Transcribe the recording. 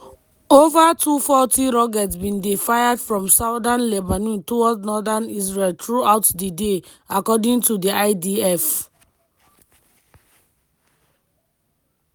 ova 240 rockets bin dey fired from southern lebanon towards northern israel throughout di day according to di idf.